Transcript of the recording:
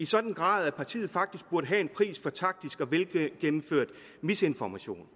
sådan grad at partiet faktisk burde have en pris for taktisk og velgennemført misinformation